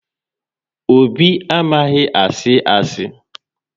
Obi amaghị asị asị